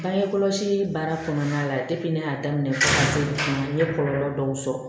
Bange kɔlɔsi baara kɔnɔna la ne y'a daminɛ n ye kɔlɔlɔ dɔw sɔrɔ